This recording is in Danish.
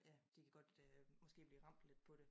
Jamen de kan godt øh måske blive ramt lidt på det